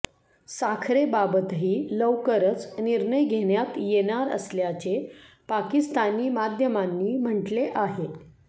साखरेबाबतही लवकरच निर्णय घेण्यात येणार असल्याचे पाकिस्तानी माध्यमांनी म्हटले आहे